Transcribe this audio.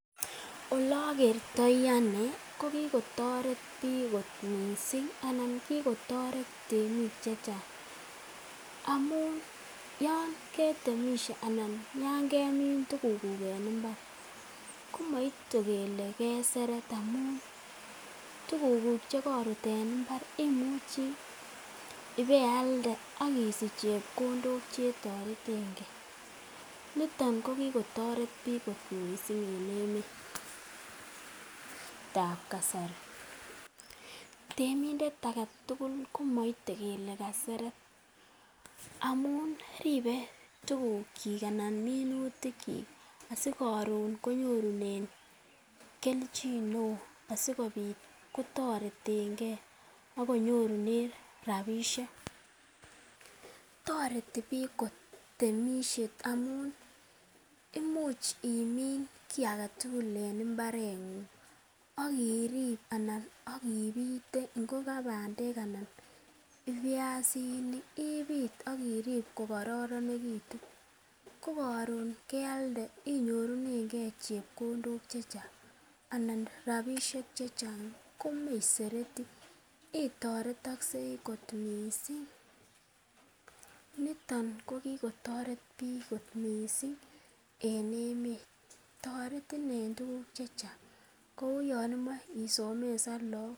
Ole ogertoi ane ko kigotoret biik kot mising anan kigotoret temik che chang amun yon ketemishe anan yan kemin tugukuk en mbar komaite kele keseret amun tugukuk che korut en mbar imucho ibealde ak isich chepkondok che toretenge. Niton kogitoret biik kot mising en emetab kasari Temindet age tugul komoite kele kaseret amun ribe tugukyik anan minutikyik asi koron konyorunen kelchin neo asikobit kotoretenge ak konyorunen rabishek. Toreti biik temisiet amun imuch imin kiy age tugul en mbareng'ung ak irib anan ak ibite ngo kabandek anan ko biasinik ibit ak irib kogororonegitun, ko koron kealde inyorunenge chepkondok che chang anan rabishek che chang komeisereti. Itoretoksei kot mising. Niton ko kigotoret biik kot mising en emet toretin en tuguk che chang, kou yon imoche isomesan lagok.